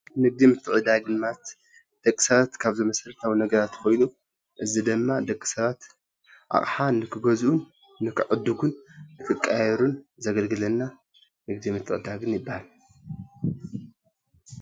ንግድን ምትዕድዳግን ማለት ደቂ ሰባት ካብዚ መሰረታዊ ነገራት ኮይኑ እዚ ድማ ደቂ ሰባት ኣቕሓ ንኽገዝኡ ንኽዕድጉን ክቀያየሩን ዘገልግለና ንግድን ምትዕድዳግን ይብሃል፡፡